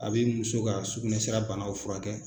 A bɛ muso ka sugunɛsira banaw furakɛ.